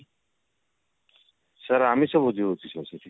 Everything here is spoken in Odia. sir ଆମିଷ ଭୋଜି ହଉଛି sir ସେଠି